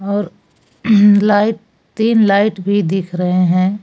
और लाइट तीन लाइट भी दिख रहे हैं।